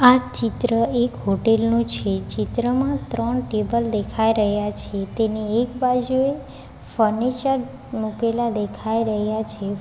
આ ચિત્ર એક હોટેલ નું છે ચિત્રમાં ત્રણ ટેબલ દેખાય રહ્યા છે તેની એક બાજુએ ફર્નિચર મુકેલા દેખાઈ રહ્યા છે.